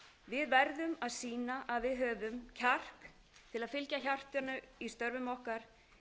við verðum að sýna að við höfum kjark til að fylgja hjartanu í störfum okkar